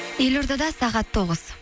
елордада сағат тоғыз